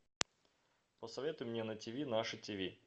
посоветуй мне на ти ви наше ти ви